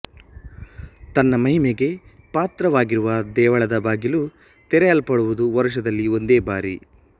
ತನ್ನ ಮಹಿಮೆಗೆ ಪಾತ್ರವಾಗಿರುವ ದೇವಳದ ಬಾಗಿಲು ತೆರೆಯಲ್ಪಡುವುದು ವರುಷದಲ್ಲಿ ಒಂದೇ ಬಾರಿ